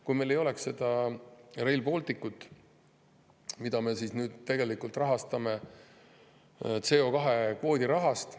Kui meil ei oleks Rail Balticut, mida me tegelikult rahastame CO2‑kvoodi rahast …